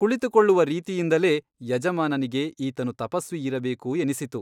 ಕುಳಿತುಕೊಳ್ಳುವ ರೀತಿಯಿಂದಲೇ ಯಜಮಾನನಿಗೆ ಈತನು ತಪಸ್ವಿ ಇರಬೇಕು ಎನ್ನಿಸಿತು.